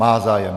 Má zájem.